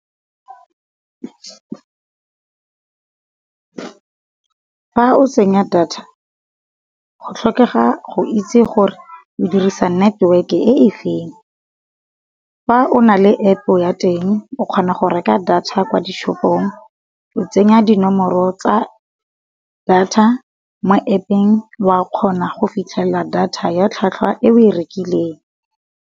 Fa o tsenya data go tlhokega go itse gore e dirisa network e efeng. Fa o na le App ya teng, o kgona go reka data kwa dishopong, o tsenya dinomoro tsa data mo App-eng wa kgona go fitlhelela data ya tlhwatlhwa e o e rekileng.